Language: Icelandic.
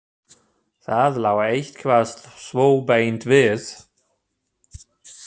Það lá eitthvað svo beint við.